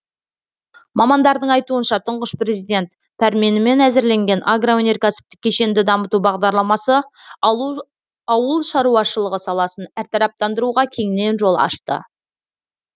мамандардың айтуынша тұңғыш президент пәрменімен әзірленген агроөнеркәсіптік кешенді дамыту бағдарламасы ауыл шаруашылығы саласын әртараптандыруға кеңінен жол ашты